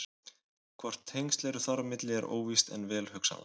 Hvort tengsl eru þar á milli er óvíst en vel hugsanlegt.